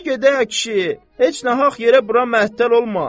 Dur gedək, ə kişi, heç nahaq yerə bura məttəl olma.